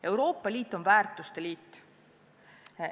Euroopa Liit on väärtuste liit.